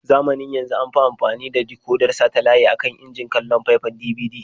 Zamanin yanzu an fi amfani da dikodar satalaye a kan injin kallon faifan DVD.